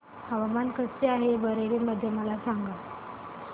हवामान कसे आहे बरेली मध्ये मला सांगा